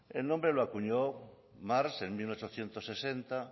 el nombre lo acuñó marx en mil ochocientos sesenta